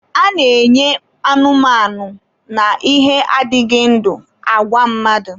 A na-enye anụmanụ na ihe adịghị ndụ, agwa mmadụ.